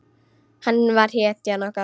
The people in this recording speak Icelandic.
Hann var hetjan okkar.